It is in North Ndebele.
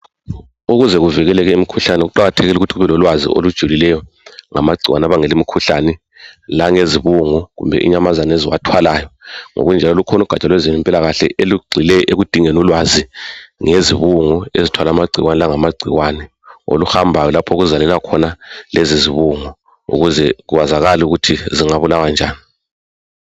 ukuze uvikele umkhuhlanne kuqakathekile ukuthi ube lolwazi olujulileyo ngamagcikwane abangela imikhuhlane langezibugu kumbe inyamazana eziwathwalayo ngokunjalo lukhona ugatsha lwezempilakahle olugxile ekudingeni ulwazi ngezibungu ezithwala amagcikwane oluhambayo lapho oluzalela khona lezizibungu ukuze kwazakale ukuthi zingabulawa njani